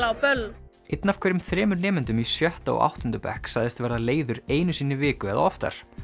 á böll einn af hverjum þremur nemendum í sjötta og áttunda bekk sagðist verða leiður einu sinni í viku eða oftar